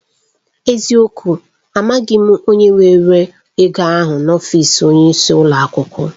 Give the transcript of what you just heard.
N'eziokwu! Amaghị m onye were ego ahụ n'ọfịs onyeisi ụlọ akwụkwọ.